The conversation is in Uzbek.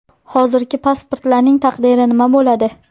Hozirgi pasportlarning taqdiri nima bo‘ladi?